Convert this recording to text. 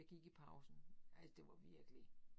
Jeg gik i pausen altså det var virkelig